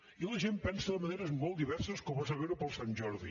i la gent pensa de maneres molt diverses com es va veure per sant jordi